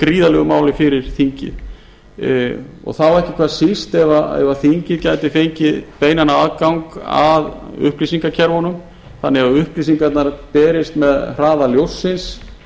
gríðarlegu máli fyrir þingið og þá ekki hvað síst ef þingið gæti fengið beinan aðgang að upplýsingakerfunum þannig að upplýsingarnar berist með hraða ljóssins